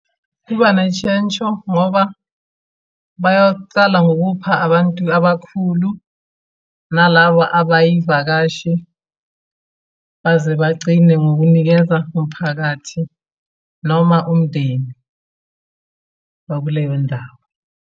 Kuba neshentsho ngoba bayocala ngokupha abantu abakhulu nalaba abayivakashi, baze bagcine ngokunikeza umphakathi noma umndeni wakuleyo ndawo.